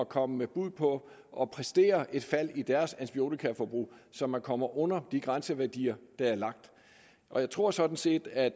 komme med bud på og præstere et fald i deres antibiotikaforbrug så man kommer under de grænseværdier der er lagt jeg tror sådan set at